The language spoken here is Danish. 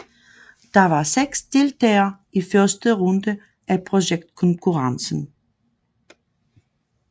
Der var seks deltagere i første runde af projektkonkurrencen